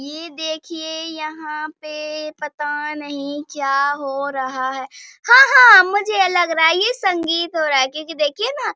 ये देखिए यहाँ पे पता नहीं क्या हो रहा है हाँ हाँ मुझे लग रहा है ये संगीत हो रह है क्यूंकि देखिए न --